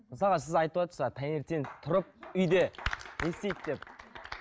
мысалға сіз айтыватырсыз а таңертең тұрып үйде не істейді деп